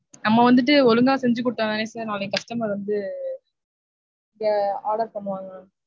நம்ம வந்துட்டு ஒழுங்கா செஞ்சு கொடுத்தாதானே sir நாளைக்கு customer வந்து இங்க order பண்ணுவாங்க